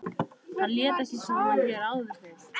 Hann lét ekki svona hér áður fyrr.